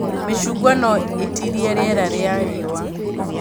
Mĩcungwa no ĩtirie rĩera rĩa riũa